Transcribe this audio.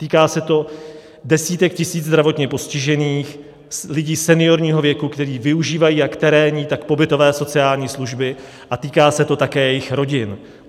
Týká se to desítek tisíc zdravotně postižených, lidí seniorního věku, kteří využívají jak terénní, tak pobytové sociální služby, a týká se to také jejich rodin.